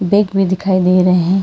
Bag भी दिखाई दे रहे हैं।